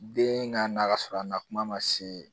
Den ka na ka sɔrɔ a na kuma ma se